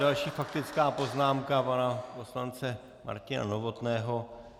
Další faktická poznámka pana poslance Martina Novotného.